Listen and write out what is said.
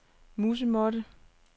musemåtte